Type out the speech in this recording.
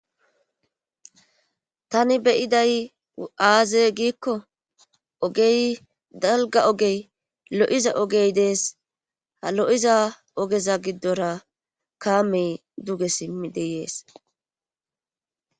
tani beyiday 7aaze giikko ogey dalga ogey lo7iza ogey dees ha lo7iza ogeza giddora kaamey duge simmi deyees